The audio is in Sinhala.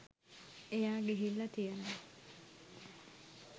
එයා ගිහිල්ල තියනව